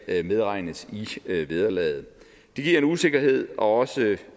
medregnes i vederlaget det giver en usikkerhed og også